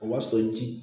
O b'a sɔrɔ ji